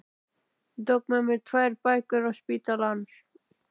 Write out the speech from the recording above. Ég tók með mér tvær bækur á spítalann